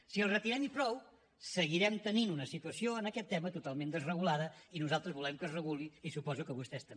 si el retirem i prou seguirem tenint una situació en aquest tema totalment desregulada i nosaltres volem que es reguli i suposo que vostès també